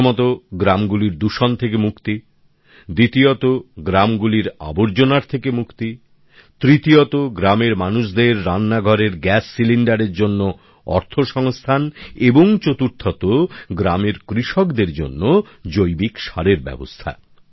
প্রথমত গ্রামগুলির দূষণ থেকে মুক্তি দ্বিতীয়ত গ্রামগুলির আবর্জনার থেকে মুক্তি তৃতীয়ত গ্রামের মানুষদের রান্নাঘরের গ্যাস সিলিন্ডারের জন্য অর্থ সংস্থান এবং চতুর্থত গ্রামের কৃষকদের জন্য জৈবিক সারের ব্যবস্থা